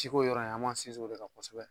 Si ko yɔrɔ in , an b'an sinin o de kan kosɛbɛ.